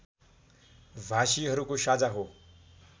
भाषीहरूको साझा हो